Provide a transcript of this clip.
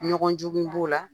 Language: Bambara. Ɲɔgɔn jugu b'o la